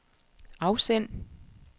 afsend